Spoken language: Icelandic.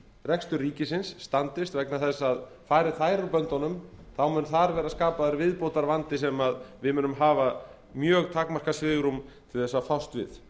rekstur ríkisins standist vegna þess að fari þær úr böndunum mun þar verða skapaður viðbótarvandi sem við munum hafa mjög takmarkað svigrúm til þess að fást við